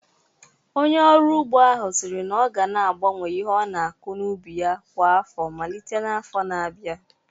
Onye ọrụ ugbo ahụ siri na ọ ga na-agbanwe ihe ọ na-akụ n'ubi ya kwa afọ malite n'afọ na-abịa